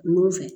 Nun fɛ